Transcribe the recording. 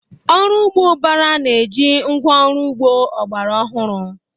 Ọrụ ugbo ubara na eji ngwa ọrụ ugbo ọgbara ọhụrụ